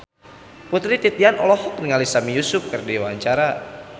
Putri Titian olohok ningali Sami Yusuf keur diwawancara